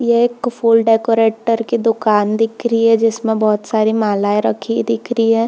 ये एक फुल डेकोरेटर की दुकान दिख रहे है जिसमें बहुत सारी मालाए रखी दिख रही है।